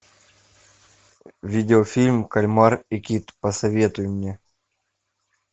видео фильм кальмар и кит посоветуй мне